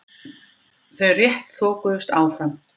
Þau rétt þokuðust áfram.